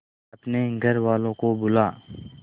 अपने घर वालों को बुला